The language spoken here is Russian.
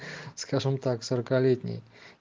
скажем так сорокалетний